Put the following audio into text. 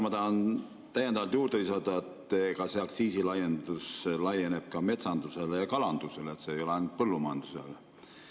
Ma tahan täiendavalt lisada, et aktsiisilaiendus laieneb ka metsandusele ja kalandusele, see ei ole ainult põllumajandusele.